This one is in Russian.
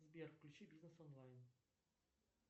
сбер включи бизнес онлайн